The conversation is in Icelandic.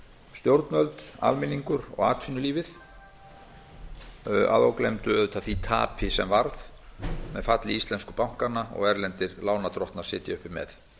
stjórnvöld almenningur og atvinnulífið að ógleymdu auðvitað því tapi sem varð með falli íslensku bankanna og erlendir lánardrottnar sitja uppi með